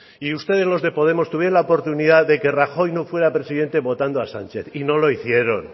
y ustedes los de podemos tuvieron la oportunidad de que rajoy no fuera presidente votando a sánchez y no lo hicieron